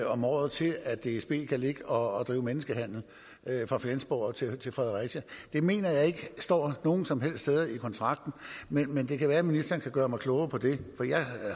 om året til at dsb kan ligge og drive menneskehandel fra flensborg og til til fredericia det mener jeg ikke står nogen som helst steder i kontrakten men det kan være ministeren kan gøre mig klogere på det for jeg